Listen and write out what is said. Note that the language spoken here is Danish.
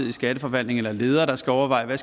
i skatteforvaltningen eller ledere der skal overveje hvad